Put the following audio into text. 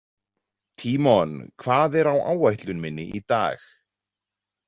Tímon, hvað er á áætlun minni í dag?